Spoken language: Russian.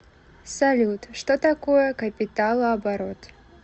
салют что такое капиталооборот